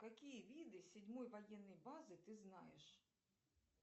какие виды седьмой военной базы ты знаешь